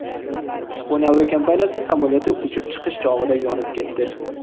Yaponiya aviakompaniyasi samolyoti uchib chiqish chog‘ida yonib ketdi.